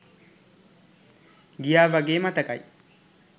ගියා වගේ මතකයි